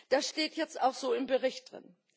Das steht jetzt auch so im Bericht drin.